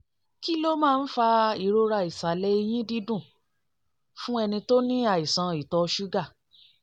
kí ló máa ń fa ìrora ìsàlẹ̀ ẹ̀yìn dídùn fún ẹni tó ní àìsàn ìtọ̀ ṣúgà?